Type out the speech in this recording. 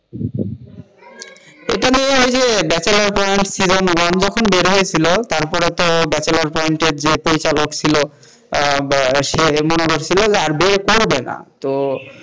এটা নিয়ে ওইযে বেচেলার পয়েন্ট ছিল, মানে যখন বের হয়েছিল তারপরে তো ব্যাচেলর পয়েন্টের যে পরিচালক ছিল তার মনে হয়েছিলো যে আর বের করবে না,